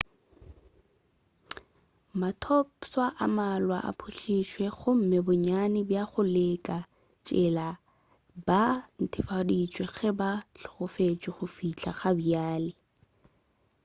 mathopšwa a mmalwa a pholšitšwe gomme bonnyane bja go leka tshela ba netefaditšwe ge ba hlokofetše go fihla ga bjale